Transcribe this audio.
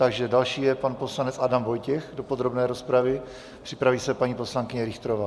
Takže další je pan poslanec Adam Vojtěch do podrobné rozpravy, připraví se paní poslankyně Richterová.